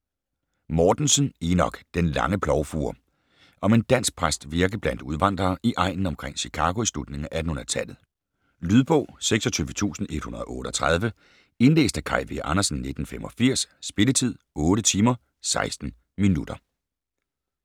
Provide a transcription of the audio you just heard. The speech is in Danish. Mortensen, Enok: Den lange plovfure Om en dansk præsts virke blandt udvandrere i egnen omkring Chicago i slutningen af 1800-tallet. Lydbog 26138 Indlæst af Kaj V. Andersen, 1985. Spilletid: 8 timer, 16 minutter.